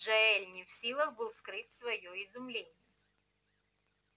джаэль не в силах был скрыть своё изумление